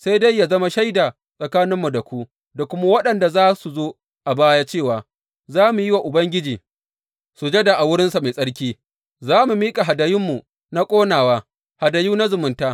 Sai dai yă zama shaida tsakaninmu da ku, da kuma waɗanda za su zo a baya, cewa za mu yi wa Ubangiji sujada a wurinsa mai tsarki, za mu miƙa hadayunmu na ƙonawa, hadayu na zumunta.